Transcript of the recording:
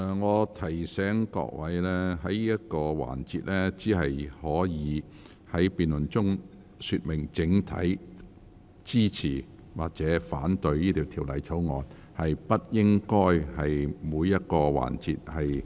我提醒各位委員，在這個環節的辯論中，只可說明是否整體支持條例草案，而不應就個別政策進行辯論。